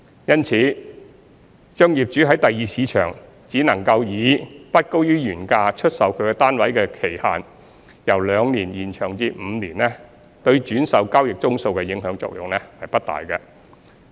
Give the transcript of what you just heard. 因此，把業主於第二市場只能以不高於原價出售其單位的期限，由兩年延長至5年，對轉售交易宗數的影響作用不大。